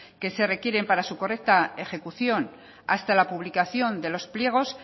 que se requieren para su correcta ejecución hasta la publicación de los pliegos